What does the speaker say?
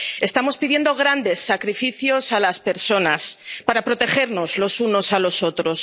Estamos pidiendo grandes sacrificios a las personas para protegernos los unos a los otros.